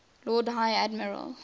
lord high admiral